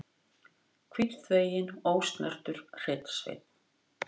Hvítþveginn, ósnertur hreinn sveinn.